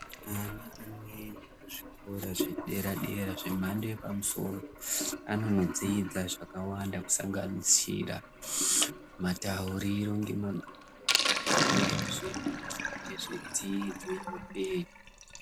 Anhu amweni kuzvikora zvedera zvemhando yepamusoro anonodzidza zvakawanda kusanganisira matauriro nemagariro anoitwe ngezvedzidzo yeupenyu.